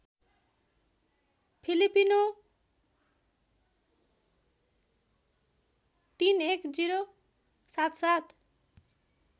Filipino ३१०७७